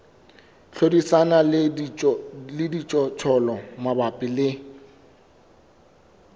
hlodisana le dijothollo mabapi le